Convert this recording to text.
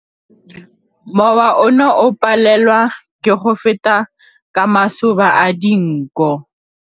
Mowa o ne o palelwa ke go feta ka masoba a dinko.